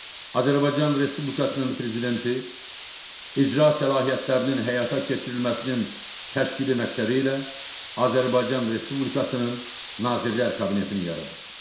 Azərbaycan Respublikasının prezidenti icra səlahiyyətlərinin həyata keçirilməsinin təşkili məqsədilə Azərbaycan Respublikasının Nazirlər Kabinetini yaradır.